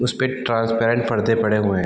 उसपे ट्रांसपेरेंट परदे पड़े हुए है।